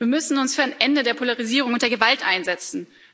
Wir müssen uns für ein Ende der Polarisierung und der Gewalt einsetzen.